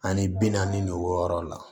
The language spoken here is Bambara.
Ani bi naani de wɔɔrɔ la